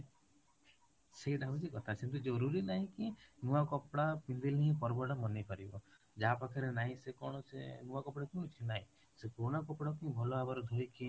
ସେଇଟା ହଉଚି କଥା କିନ୍ତୁ ଜରୁରୀ ନାଇଁ କି ନୂଆ କପଡା ପିନ୍ଧିଲେ ହିଁ ପର୍ବ ଟା ମନେଇ ପାରିବ, ଯାହା ପାଖରେ ନାହିଁ ସେ କଣ ସେ ନୂଆ କପଡା ପିନ୍ଧୁଚି ନାଇଁ, ସେ ପୁରୁଣା କପଡା କୁ ଭଲ ଭାବରେ ଧୋଇକି